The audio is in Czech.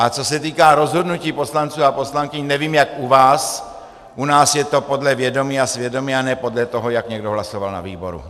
A co se týká rozhodnutí poslanců a poslankyň, nevím, jak u vás, u nás je to podle vědomí a svědomí a ne podle toho, jak někdo hlasoval na výboru.